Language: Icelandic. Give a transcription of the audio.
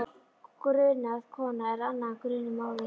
Grunuð kona er annað en grunuð móðir.